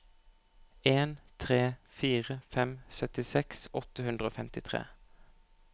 en tre fire fem syttiseks åtte hundre og femtitre